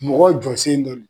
Mɔgɔ jɔ sen dɔ don